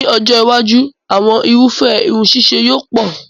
Ní ọjọ́ iwájú, àwọn irúfẹ́ irun ṣíṣe yóò pọ̀